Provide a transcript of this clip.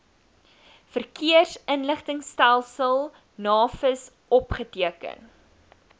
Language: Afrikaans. verkeersinligtingstelsel navis opgeteken